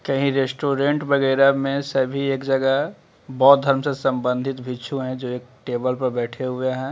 कहीं रेस्टोरेंट वगैरा में सभी एक जगह बौद्ध धर्म से संबंधित भिक्षु है जो एक टेबल पे बैठे हुए है।